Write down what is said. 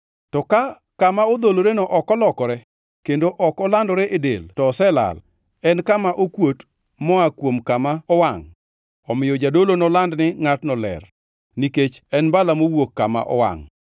To kata ka kama odholoreno ok olokore kendo ok olandore e del to oselal, en kama okuot moa kuom kama owangʼ, omiyo jadolo noland ni ngʼatno ler; nikech en mbala mowuok kama owangʼ.